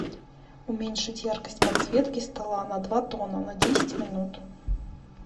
уменьшить яркость подсветки стола на два тона на десять минут